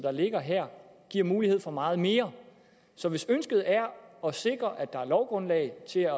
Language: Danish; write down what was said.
der ligger her giver mulighed for meget mere så hvis ønsket er at sikre at der er lovgrundlag til at